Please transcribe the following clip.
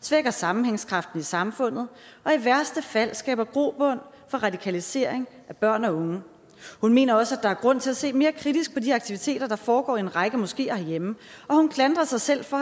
svækker sammenhængskraften i samfundet og i værste fald skaber grobund for radikalisering af børn og unge hun mener også at der er grund til at se mere kritisk på de aktiviteter der foregår i en række moskeer herhjemme og hun klandrer sig selv for